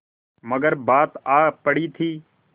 मगर बात आ पड़ी थी